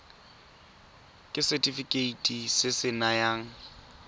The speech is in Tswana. ke setefikeiti se se nayang